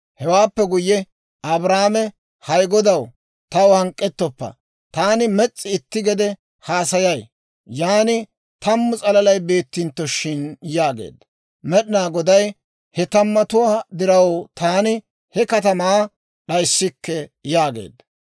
Hewaappe guyye Abrahaame, «Hay Goday taw hank'k'ettoppo; taani mes's'i itti gede haasayay; yan tammu s'alalay beettintto shin?» yaageedda. Med'inaa Goday, «He tammatuwaa diraw taani he katamaa d'ayssikke» yaageedda.